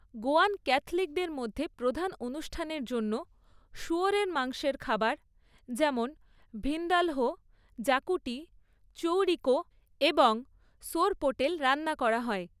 গোয়ান ক্যাথলিকদের মধ্যে প্রধান অনুষ্ঠানের জন্য শুয়োরের মাংসের খাবার যেমন ভিন্দালহো, জাকুটি, চৌরিকো এবং সোরপোটেল রান্না করা হয়।